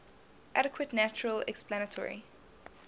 adequate natural explanatory